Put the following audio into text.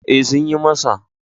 E, Sun yi masa.